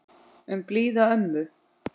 Um blíða ömmu.